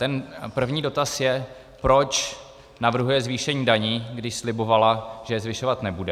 Ten první dotaz je, proč navrhuje zvýšení daní, když slibovala, že je zvyšovat nebude.